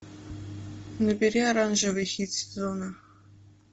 набери оранжевый хит сезона